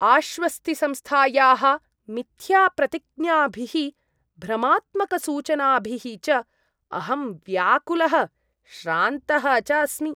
आश्वस्तिसंस्थायाः मिथ्याप्रतिज्ञाभिः भ्रमात्मकसूचनाभिः च अहं व्याकुलः श्रान्तः च अस्मि।